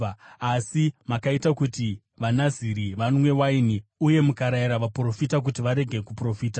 “Asi makaita kuti vaNaziri vanwe waini uye mukarayira vaprofita kuti varege kuprofita.